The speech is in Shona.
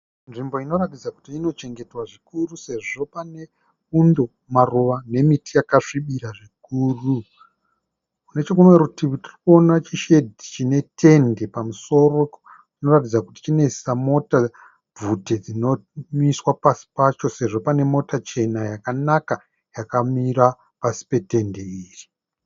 Nzvimbo inoratidza kuti ino chengetwa zvikuru sezvo pane bundo, maruva nemiti yakasvibira zvikuru. Necherumwe rutivi tirikunona chishedhi chine tende pamusoro. Inoratidza kuti chinoisa mota bvute dzino miswa pasi pacho sezvo pane mota chena yakanaka yakamira pasi pe tende iri.